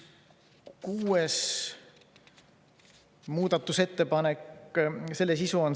Kuues muudatusettepanek.